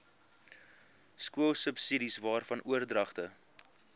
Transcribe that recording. skoolsubsidies waarvan oordragte